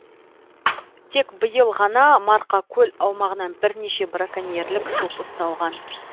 тек биыл ғана марқакөл аумағынан бірнеше браконьерлік топ ұсталған